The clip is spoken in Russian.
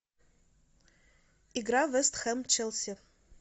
игра вест хэм челси